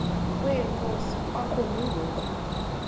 kwenkosi kwakumi ngoku